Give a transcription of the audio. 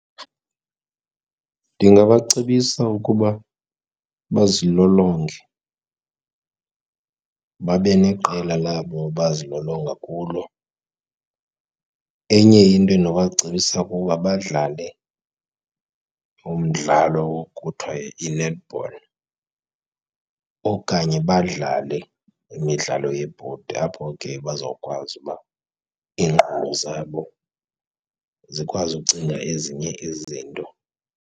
Ndingabacebisa ukuba bazilolonge babe neqela labo abazilolonga kulo. Enye into endinobacebisa kukuba badlale umdlalo okuthiwa yi-netball okanye badlale imidlalo yebhodi, apho ke bazokwazi uba iinkqubo zabo zikwazi ukucinga ezinye izinto.